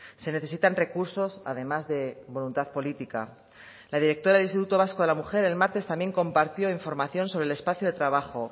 se necesitan recursos además de voluntad política la directora del instituto vasco de la mujer el martes también compartió información sobre el espacio de trabajo